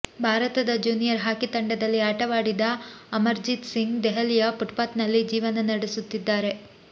ಭಾರತದ junior hockey ತಂಡದಲ್ಲಿ ಆಟವಾಡಿದ ಅಮರ್ಜೀತ್ ಸಿಂಗ್ ದೆಹಲಿಯ ಫುಟ್ಪಾತ್ನಲ್ಲಿ ಜೀವನ ನಡೆಸುತ್ತಿದ್ದಾರೆ